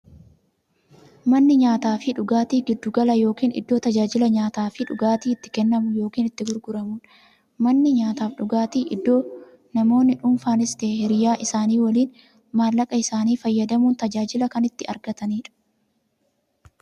Manni nyaataafi dhugaatii giddu gala yookiin iddoo taajilli nyaataafi dhugaatii itti kennamu yookiin itti gurguramuudha. Manni nyaataafi dhugaatii iddoo namoonni dhuunfaanis ta'ee hiriyyaa isaanii waliin maallaqa isaanii fayyadamuun tajaajila kan itti argataniidha.